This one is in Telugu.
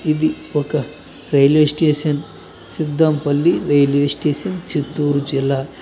ఇది ఒక railway station Siddampalli railway station Chittoor జిల్లా.